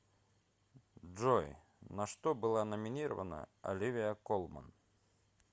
джой на что была номинирована оливия колман